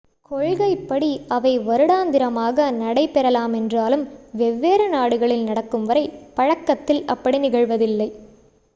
கொள்கைப் படி அவை வருடந்திரமாக நடை பெறலாமென்றாலும் வெவ்வேறு நாடுகளில் நடக்கும் வரை பழக்கத்தில் அப்படி நிகழ்வதில்லை